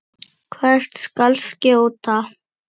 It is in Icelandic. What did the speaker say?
Hvert skal skjóta?